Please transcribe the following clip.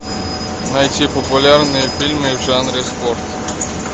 найти популярные фильмы в жанре спорт